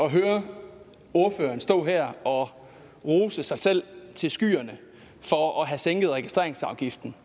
at høre ordføreren stå her og rose sig selv til skyerne for at have sænket registreringsafgiften